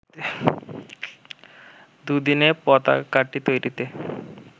দু’দিনে পতাকাটি তৈরিতে